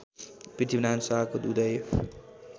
पृथ्वीनारायण शाहको उदय